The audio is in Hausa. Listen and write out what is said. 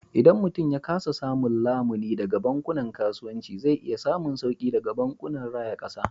Idan mutum ya kasa samun lamuni daga bankunan kasuwanci, zai iya samun sauki daga bankunan raya kasa.